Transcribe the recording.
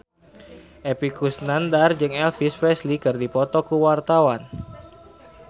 Epy Kusnandar jeung Elvis Presley keur dipoto ku wartawan